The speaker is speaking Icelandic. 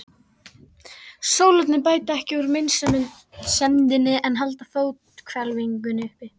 Sólarnir bæta ekki úr meinsemdinni en halda fóthvelfingunni uppi.